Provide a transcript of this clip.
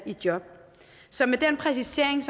job så med den præcisering